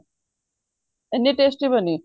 ਇੰਨੀ tasty ਬਣੀ